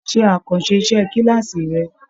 Ṣe àkànṣe iṣẹ kilaasi rẹ!